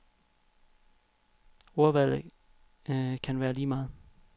Ordvalget kan være lige meget.